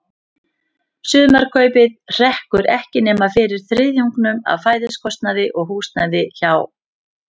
Sumarkaupið hrekkur ekki nema fyrir þriðjungnum af fæðiskostnaði og húsnæði hjá